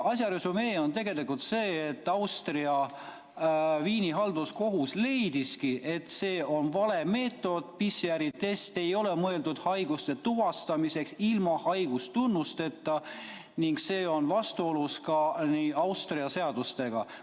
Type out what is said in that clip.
Asja resümee on tegelikult see, et Austria Viini halduskohus leidiski, et see on vale meetod, PCR-test ei ole mõeldud haiguste tuvastamiseks ilma haigustunnusteta ning see on vastuolus ka Austria seadustega.